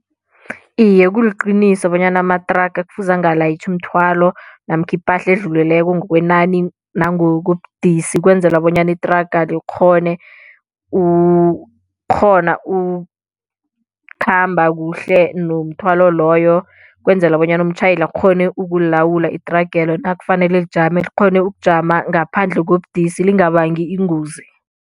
Iye kuliqiniso bonyana amathraga kufuze angalayitjhi umthwalo namkha ipahla edluleleko ngokwenani nangokobudisi ukwenzela bonyana ithraga likghone ukukghona ukukhamba kuhle nomthwalo loyo, ukwenzela bonyana umtjhayeli akghone ukulilawula ithragelo nakufanele lijame likghone ukujama ngaphandle kobudisi lingabangi ingozi.